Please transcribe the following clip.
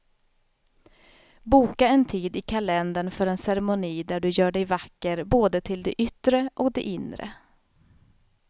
Boka en tid i kalendern för en ceremoni där du gör dig vacker både till det yttre och det inre.